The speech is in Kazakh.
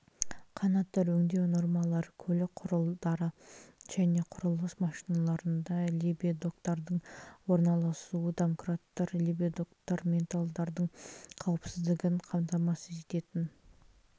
канаттар өңдеу нормалары көлік құралдары мен құрылыс машиналарында лебедоктардың орналасуы домкраттар лебедоктар менталдардың қауіпсіздігін қамтамасыз ететін